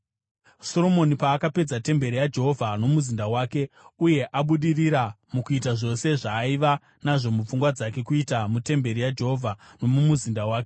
Soromoni paakapedza temberi yaJehovha nomuzinda wake, uye abudirira mukuita zvose zvaaiva nazvo mupfungwa dzake kuita mutemberi yaJehovha nomumuzinda wake,